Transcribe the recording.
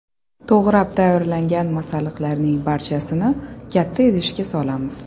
To‘g‘rab tayyorlangan masalliqlarning barchasini katta idishga solamiz.